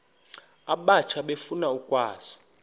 abatsha efuna ukwazi